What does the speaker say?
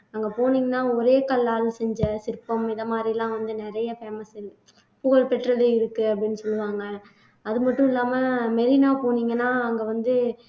அங்க போனீங்கன்னா ஒரே கல்லால் செஞ்ச சிற்பம் இந்த மாதிரி எல்லாம் வந்து நிறைய famous புகழ்பெற்றது இருக்கு அப்படின்னு சொல்லுவாங்க அது மட்டும் இல்லாம மெரினா போனீங்கன்னா அங்க வந்து